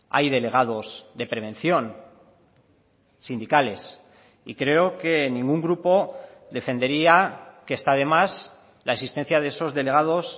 hay delegados de prevención sindicales y creo que ningún grupo defendería que está de más la existencia de esos delegados